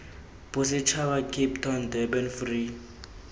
bosetšhaba cape town durban free